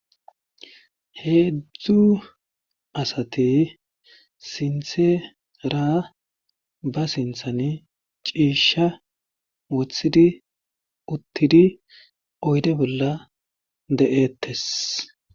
heedzddzu asati sinthe ra ba sinthan ciisha woththidi uttidi oyde bolla de7eettes